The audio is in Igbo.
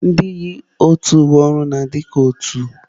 Ndị yi otu uwe ọrụ na-adị ka otu